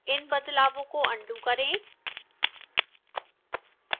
इन बदलावों को अन्डू करें